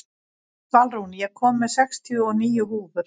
Svalrún, ég kom með sextíu og níu húfur!